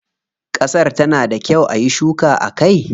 Kasar ta na da kyau ayi shuka a kai?